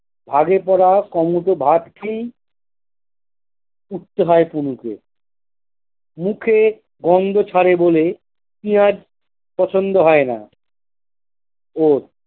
ভাগে পরা ক মুঠো ভাত খেয়েই উঠতে হয় পুলুকে মুখে গন্ধ ছাড়ে বলে পেঁয়াজ পছন্দ হয়না ওর।